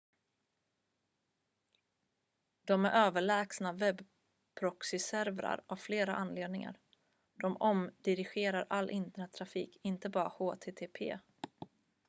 de är överlägsna webbproxyservrar av flera anledningar de omdirigerar all internettrafik inte bara http